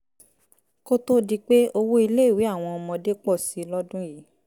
koto dipe owo ile awọn ọmọde pọ si lọdun yii